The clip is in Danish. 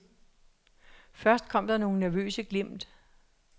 Først kom der nogle nervøse glimt.